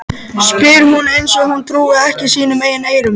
Ingimunda, hvernig er veðrið úti?